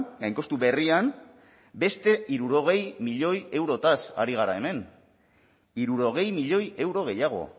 gainkostu berrian beste hirurogei milioi eurotaz ari gara hemen hirurogei milioi euro gehiago